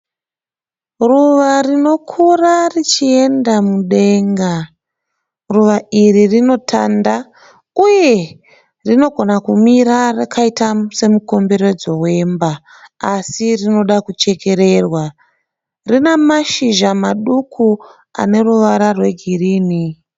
Ruva rinokura richienda mudenda. Ruva iri rinotanda uye rinogona kumira rakaita semukomberedzo wemba asi rinoda kuchekererwa. Rinamashizha maduku aneruvara rwegirini.